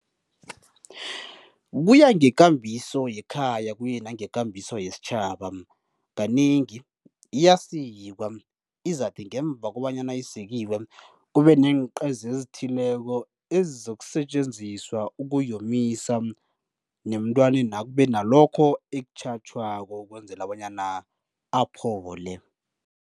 Kuya ngekambiso yekhaya, kuye nangekambiso yesitjhaba. Kanengi iyasikwa, izakuthi ngemva kobanyana isikiwe kube neenqeza ezithileko ezizokusetjenziswa ukuyomisa, nemntwanena kube nalokho ekutjhatjhwako ukwenzela bonyana aphole.